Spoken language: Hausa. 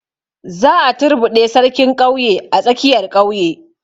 Za a turbuɗe sarkin ƙauye a tsakiyar ƙauye